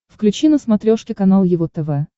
включи на смотрешке канал его тв